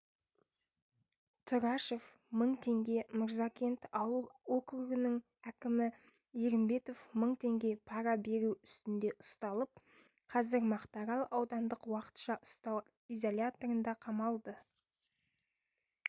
тұрашев мың теңге мырзакент ауыл округінің әкімі ерімбетов мың теңге пара беру үстінде ұсталып қазір мақтарал аудандық уақытша ұстау изоляторында қамалды